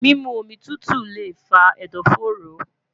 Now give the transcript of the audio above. mimu omi tutu le fa ẹdọfóró